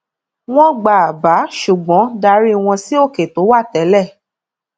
wọn gba àbá ṣùgbọn darí wọn sí òkè tó wà tẹlẹ